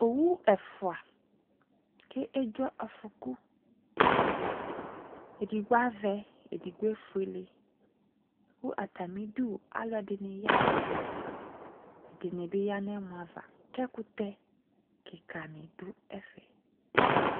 Owu ɛfua ko edzo afɔku, edigbɔ avɛ, edigbo efuele, ko atame du aluɛde ne ya no ɛfɛ Ɛdene be ya no ɛmɔ ava, ko ekutɛ kika ne do ɛfɛ